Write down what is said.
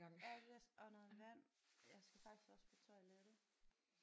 Ja lidt og noget vand jeg skal faktisk også på toilettet